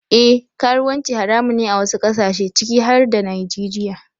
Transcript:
Eh karuwanci haramun ne a wasu kasashe ciki har da Najeriya.